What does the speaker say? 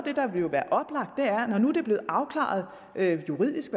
blevet afklaret juridisk